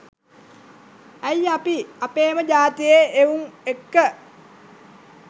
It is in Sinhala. ඇයි අපි අපේම ජාතියේ එවුන් එක්ක